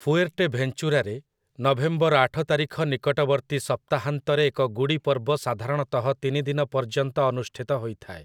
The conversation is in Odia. ଫୁଏର୍ଟେଭେଞ୍ଚୁରାରେ, ନଭେମ୍ବର ଆଠ ତାରିଖ ନିକଟବର୍ତ୍ତୀ ସପ୍ତାହାନ୍ତରେ ଏକ ଗୁଡ଼ି ପର୍ବ ସାଧାରଣତଃ ତିନି ଦିନ ପର୍ଯ୍ୟନ୍ତ ଅନୁଷ୍ଠିତ ହୋଇଥାଏ ।